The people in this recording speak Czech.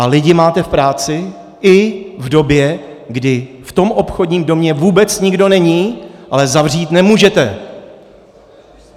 A lidi máte v práci i v době, kdy v tom obchodním domě vůbec nikdo není, ale zavřít nemůžete.